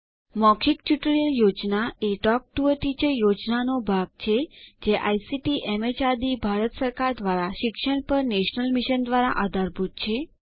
મૌખિક tutorial project a talk to a teacher પ્રોજેક્ટનો ભાગ છે જે આઇસીટીએમએચઆરડીભારત સરકાર દ્વારા શિક્ષણ પર નેશનલ મિશન દ્વારા આધારભૂત છે